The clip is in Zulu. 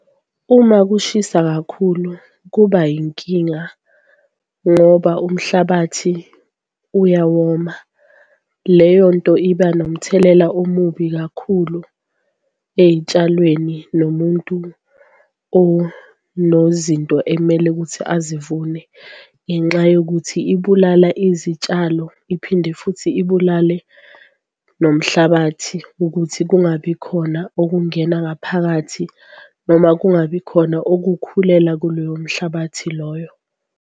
Uma kushisa kakhulu kuba yinkinga ngoba umhlabathi uyawoma leyonto iba nomthelela omubi kakhulu eyitshalweni nomuntu onozinto ekumele ukuthi azivune, ngenxa yokuthi ibulala izitshalo. Iphinde futhi ibulale nomhlabathi ukuthi kungabi khona okungena ngaphakathi, noma kungabi khona ukukhulela kuloyo mhlabathi loyo.